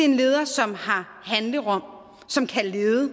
en leder som har handlerum og som kan lede og